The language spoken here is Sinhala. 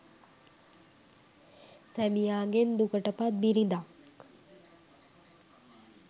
සැමියාගෙන් දුකට පත් බිරිඳක්